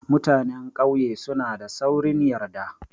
Mutanan ƙauye suna da saurin yarda.